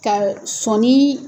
Ka ɔ sɔnii